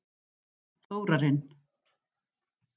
Þórarinn